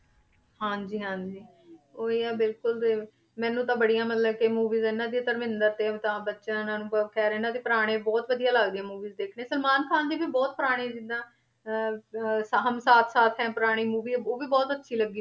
ਹਾਂਜੀ ਹਾਂਜੀ ਉਹੀ ਹੈ ਬਿਲਕੁਲ ਤੇ ਮੈਨੂੰ ਤਾਂ ਬੜੀਆਂ ਮਤਲਬ ਕਿ movies ਇਹਨਾਂ ਦੀਆਂ ਧਰਮਿੰਦਰ ਤੇ ਅਮਿਤਾਬ ਬੱਚਨ, ਅਨੁਪਮ ਖੈਰ ਇਹਨਾਂ ਦੀ ਪੁਰਾਣੇ ਬਹੁਤ ਵਧੀਆ ਲੱਗਦੀਆਂ movies ਦੇਖਣੀਆਂ ਸਲਮਾਨ ਖਾਨ ਦੀ ਵੀ ਬਹੁਤ ਪੁਰਾਣੀ ਜਿੱਦਾਂ ਅਹ ਅਹ ਹਮ ਸਾਥ ਸਾਥ ਹੈ ਪੁਰਾਣੀ movie ਹੈ ਉਹ ਵੀ ਬਹੁਤ ਅੱਛੀ ਲੱਗੀ